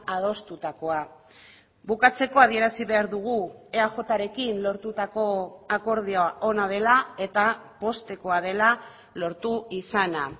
adostutakoa bukatzeko adierazi behar dugu eajrekin lortutako akordioa ona dela eta poztekoa dela lortu izana